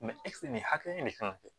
ɛsike nin hakɛ in de kan ka kɛ